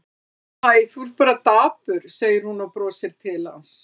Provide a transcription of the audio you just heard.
Hæ, þú ert bara dapur, segir hún og brosir til hans.